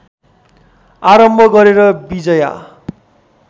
आरम्भ गरेर विजया